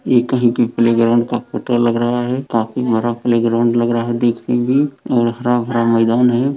ये कहीं की प्लेग्राउंड का फोटो लग रहा है काफी बड़ा प्लेग्राउंड लग रहा है देखते ही और हरा-भरा मैदान है।